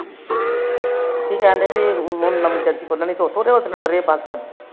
ਕੀ ਕਹਿੰਦੇ ਸੀ ਨਵੀ ਏਜੰਸੀ ਖੁਲਣੀ ਉਥੋ ਤੋ ਲਾਓ ਸਿਲੰਡਰ ਇਹ ਬਸ